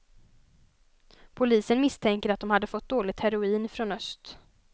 Polisen misstänker att de hade fått dåligt heroin från öst.